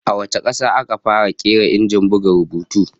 A wace kasa aka fara kera Injin buga rubutu?